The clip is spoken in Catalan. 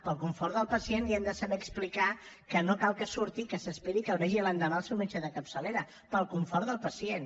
pel confort del pacient li hem de saber explicar que no cal que surti i que s’esperi i que el vegi l’endemà el seu metge de capçalera pel confort del pacient